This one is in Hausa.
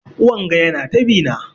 Wanga Yana ta bi na.